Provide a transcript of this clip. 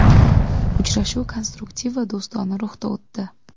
Uchrashuv konstruktiv va do‘stona ruhda o‘tdi.